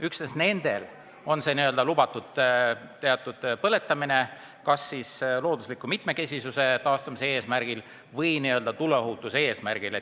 Üksnes nendel on teatud põletamine lubatud kas siis loodusliku mitmekesisuse taastamise eesmärgil või tuleohutuse eesmärgil.